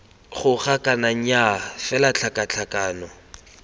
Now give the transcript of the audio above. goga kana nnyaa fela tlhakatlhakano